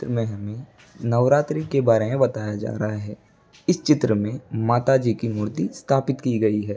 में हमें नवरात्री के बारे में बताया जा रहा है | इस चित्र में माता जी की मूर्ति स्थापित की गई है |